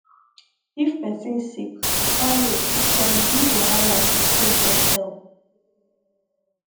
if person sick far road fit turn big wahala to take get help